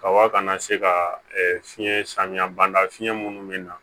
Kaba kana se ka fiɲɛ samiya ban da fiɲɛ munnu mi na